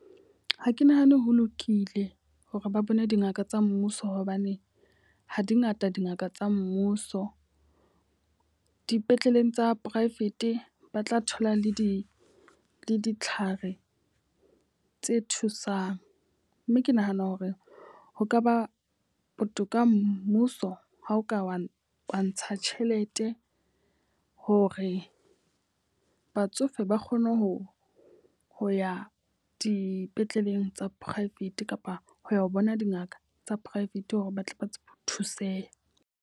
Ha ke nahane ho lokile hore ba bone dingaka tsa mmuso hobane ha di ngata dingaka tsa mmuso. Dipetleleng tsa poraefete ba tla thola le di ditlhare tse thusang. Mme ke nahana hore ho ka ba botoka mmuso ha o ka wa ntsha tjhelete hore batsofe ke ba kgone ho, ho ya dipetleleng tsa private kapa ho ya ho bona dingaka tsa private hore batle ba tsebe ho thuseha.